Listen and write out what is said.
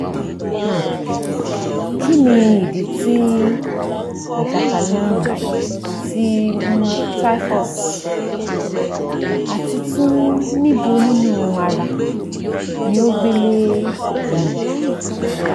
um kini idi ti ajakale-arun ti um typhus? ati tun nibo ninu ara ni o gbe le eyin